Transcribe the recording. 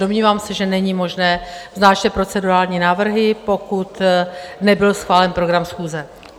Domnívám se, že není možné vznášet procedurální návrhy, pokud nebyl schválen program schůze.